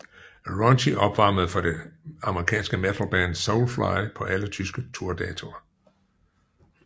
Raunchy opvarmede for det amerikanske metal band Soulfly på alle tyske tour datoer